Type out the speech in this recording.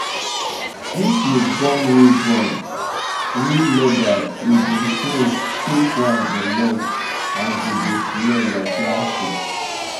if you burn real burn real leather e go shrink fake one go melt and go dey smell like plastic